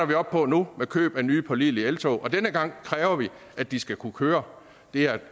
vi op på nu med købet af nye pålidelige eltog og denne gang kræver vi at de skal kunne køre det er et